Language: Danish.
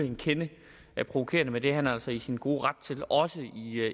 en kende provokerende men det er han altså i sin gode ret til også